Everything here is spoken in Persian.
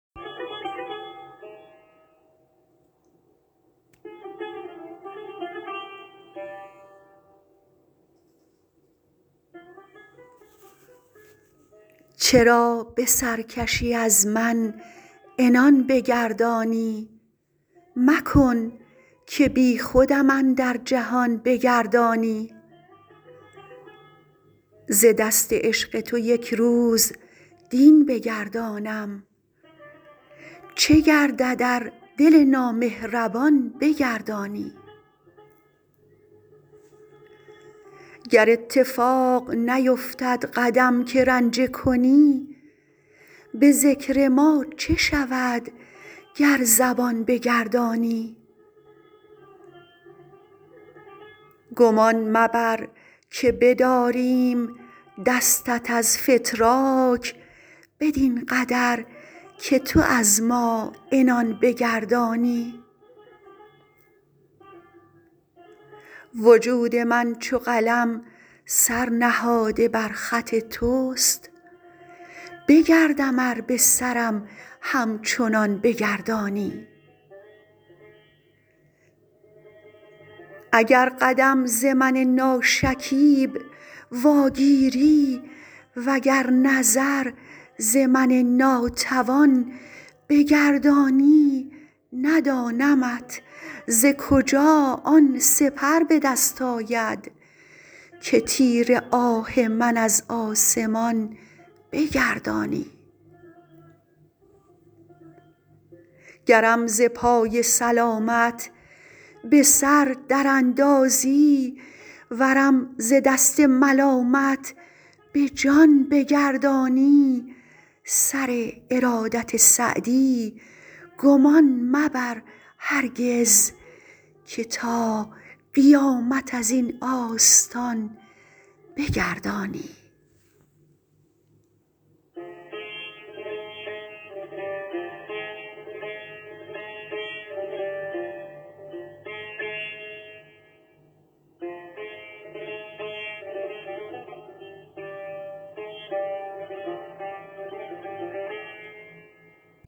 چرا به سرکشی از من عنان بگردانی مکن که بیخودم اندر جهان بگردانی ز دست عشق تو یک روز دین بگردانم چه گردد ار دل نامهربان بگردانی گر اتفاق نیفتد قدم که رنجه کنی به ذکر ما چه شود گر زبان بگردانی گمان مبر که بداریم دستت از فتراک بدین قدر که تو از ما عنان بگردانی وجود من چو قلم سر نهاده بر خط توست بگردم ار به سرم همچنان بگردانی اگر قدم ز من ناشکیب واگیری و گر نظر ز من ناتوان بگردانی ندانمت ز کجا آن سپر به دست آید که تیر آه من از آسمان بگردانی گرم ز پای سلامت به سر در اندازی ورم ز دست ملامت به جان بگردانی سر ارادت سعدی گمان مبر هرگز که تا قیامت از این آستان بگردانی